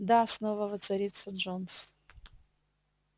да снова воцарится джонс